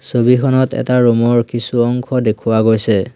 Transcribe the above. ছবিখনত এটা ৰুম ৰ কিছু অংশ দেখুওৱা গৈছে।